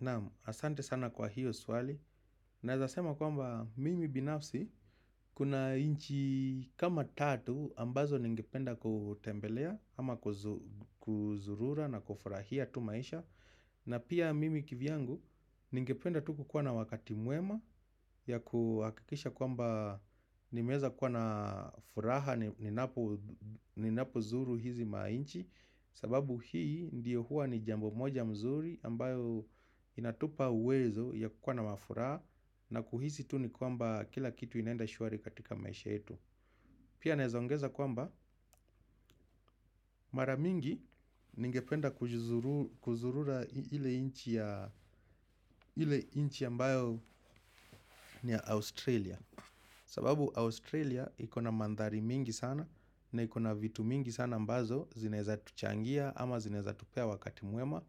Naam, asante sana kwa hiyo swali. Naweza sema kwamba mimi binafsi kuna inchi kama tatu ambazo ningependa kutembelea ama kuzurura na kufurahia tu maisha. Na pia mimi kivyangu ningependa tu kukuwa na wakati mwema ya kuakikisha kwamba nimeweza kuwa na furaha ni napo zuru hizi mainchi. Sababu hii ndiyo huwa ni jambo moja mzuri ambayo inatupa uwezo ya kukua na mafuraha na kuhisi tu ni kwamba kila kitu inaenda shwari katika maisha yetu. Pia nawezaongeza kwamba maramingi ningependa kuzurura ile inchi ambayo ni Australia. Sababu Australia ikona mandhari mingi sana na ikona vitu mingi sana ambazo zinaweza tuchangia ama zinaweza tupea wakati mwema.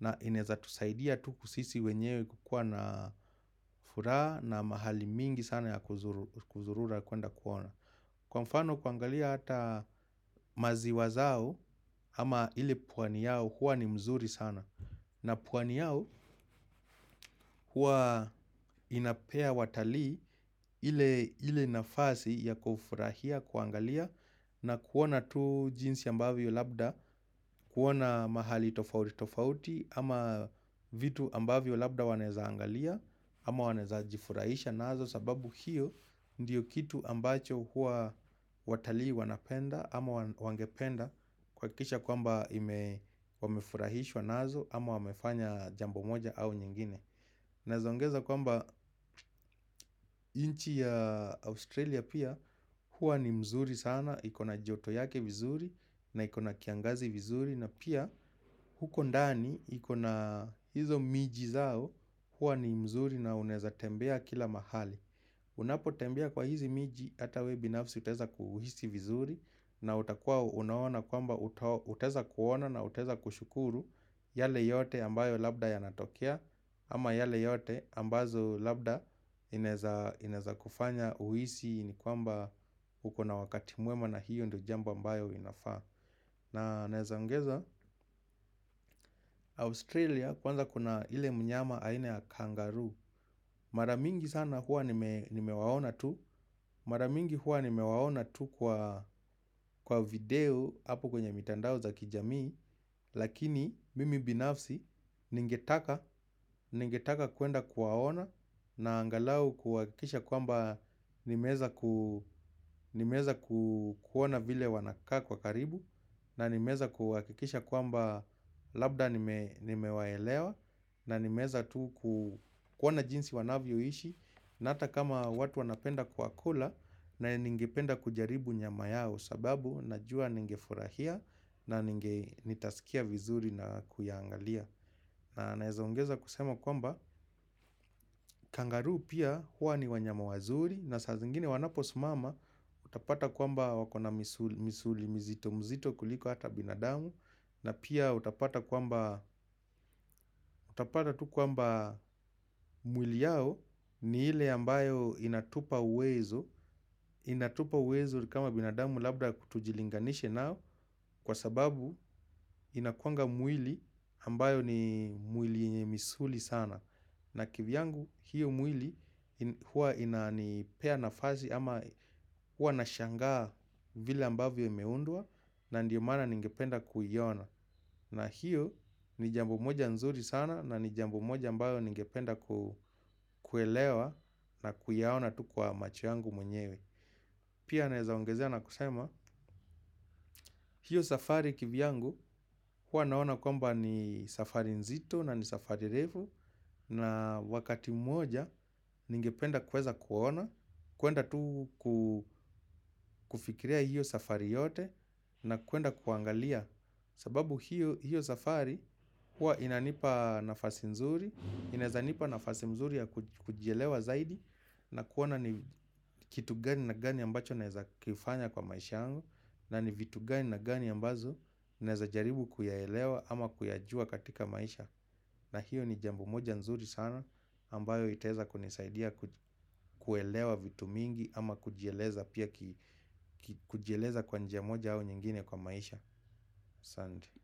Na inaweza tusaidia tu sisi wenyewe kukua na furaha na mahali mingi sana ya kuzurura kwenda kuona. Kwa mfano kuangalia hata maziwa zao ama ile pwani yao huwa ni mzuri sana. Na pwani yao huwa inapea watali ile nafasi ya kufurahia kuangalia. Na kuona tu jinsi ambavyo labda, kuona mahali tofauti tofauti ama vitu ambavyo labda wanaweza angalia ama wanaweza jifurahisha nazo sababu hiyo ndiyo kitu ambacho hua watalii wanapenda ama wangependa kuhakisha kwamba ime wamefurahishwa nazo ama wamefanya jambo moja au nyingine. Naeza ongeza kwamba nchi ya Australia pia huwa ni mzuri sana, ikona joto yake vizuri na ikona kiangazi vizuri na pia huko ndani ikona hizo miji zao huwa ni mzuri na uneza tembea kila mahali. Unapotembia kwa hizi miji hata wewe binafsi utaweza kuhisi vizuri na utakua unaona kwamba utaweza kuona na utaweza kushukuru yale yote ambayo labda yanatokea ama yale yote ambazo labda ineza kufanya uhisi ni kwamba ukona wakati mwema na hiyo ndiyo jambo ambayo inafaa. Na naweza ongeza Australia kwanza kuna ile mnyama aine ya kangaroo. Maramingi sana hua nimewaona tu. Maramingi hua nimewaona tu kwa video hapo kwenye mitandao za kijami. Lakini mimi binafsi ningetaka kuenda kuwaona. Na angalau kuhakisha kwamba nimeweza kuona vile wanakaa kwa karibu. Na nimeweza kuhakikisha kwamba labda nimewaelewa. Na nimeweza tu kuoana jinsi wanavyoishi. Na hata kama watu wanapenda kuwakula. Na ningependa kujaribu nyama yao sababu najua ningefurahia na ninge nitasikia vizuri na kuiangalia. Naweza ongeza kusema kwamba kangaroo pia hua ni wanyama wazuri. Na saa zingine wanaposimama utapata kwamba wakona misuli mizito mizito kuliko hata binadamu. Na pia utapata tu kwamba mwili yao ni ile ambayo inatupa uwezo. Inatupa uwezo kama binadamu labda kutojilinganishi nao. Kwa sababu inakuanga mwili ambayo ni mwili yenye misuli sana. Na kivyangu hiyo mwili huwa inanipea nafasi ama huwa nashangaa vila ambayo imeundwa. Na ndiyo maana ningependa kuiona. Na hiyo ni jambo moja nzuri sana na ni jambo moja mbalo ningependa kuelewa na kuyaona tu kwa macho yangu mwenyewe. Pia naweza ongezea na kusema, hiyo safari kivyangu hua naona kwamba ni safari nzito na ni safari refu na wakati mmoja ningependa kuweza kuwaona, kwenda tu kufikiria hiyo safari yote na kuenda kuangalia sababu hiyo safari huwa inanipa nafasi nzuri inaweza nipa nafasi mzuri ya kujielewa zaidi na kuona ni kitu gani na gani ambacho naweza kifanya kwa maisha yangu na ni vitu gani na gani ambazo naweza jaribu kuyaelewa ama kuyajua katika maisha na hiyo ni jambo moja nzuri sana ambayo itaweza kunisaidia kuelewa vitu mingi. Ama kujieleza pia kujieleza kwa njia moja au nyingine kwa maisha asanti.